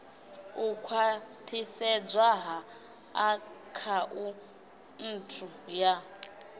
u khwathisedzwa ha akhaunthu ya